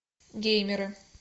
геймеры